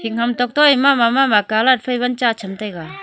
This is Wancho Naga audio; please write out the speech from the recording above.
Hing ham tok toh ae mama mama colour phai wan cha tham taiga.